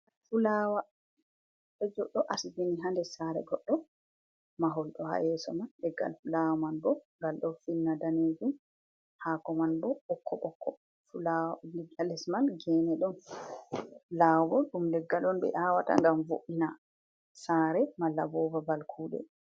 Fulawa, goddo asbini ha nder sare goddo, mahol do ha yeeso man leggal fulawa man bo ngal do finna daneejum haako man bo bokko bokko hales man geene don labo ɗum leggal'on ɓe awaata ngam vo’ina sare malla bo babal kuuɗe.